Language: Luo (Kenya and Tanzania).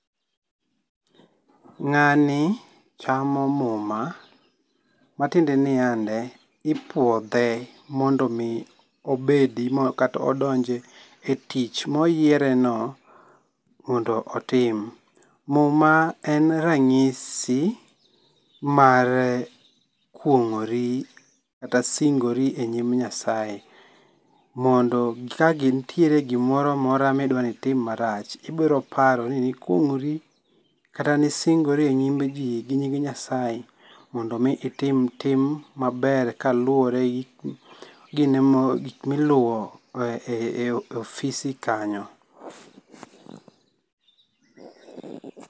Ng'ani chamo muma matiende ni yande, ipuodhe mondo mi obedi kata odonje e tich ma oyiereno mondo otim. Muma en rang'isi mar kuong'ori kata singori e nyim Nyasaye mondo ka nitie gi moro amora ma idwa ni tim marach, ibiro paro ni nikuong'ori kata nisingori e nyim jii gi nyim Nyasaye mondo mi itim tim maber kaluore gi gik ma iluwo e ofisi[. kanyo.